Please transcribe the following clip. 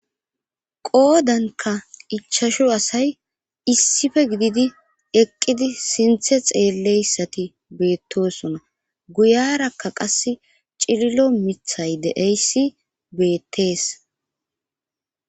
qoodanka ichashu asay issife gididi eqqidi sinthe xeelleyssati beettosona guyarakka qas cililo mithay de7eyssi beettees